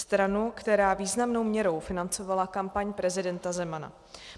Stranu, která významnou měrou financovala kampaň prezidenta Zemana.